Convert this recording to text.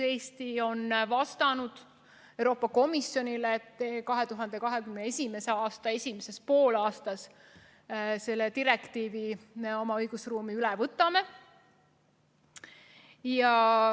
Eesti on vastanud Euroopa Komisjonile, et 2021. aasta esimeses poolaastas me selle direktiivi oma õigusruumi üle võtame.